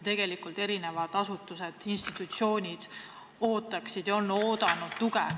Tegelikult ootavad erinevad asutused-institutsioonid tuge.